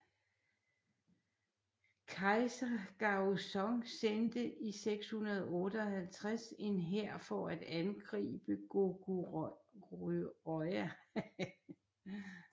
Kejser Gaozong sendte i 658 en hær for at angribe Goguryeo